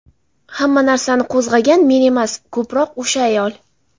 Hamma narsani qo‘zg‘agan men emas, ko‘proq o‘sha ayol.